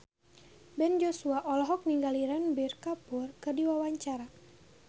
Ben Joshua olohok ningali Ranbir Kapoor keur diwawancara